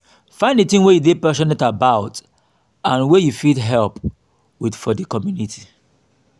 find di thing wey you dey passionate about and wey you fit help with for di community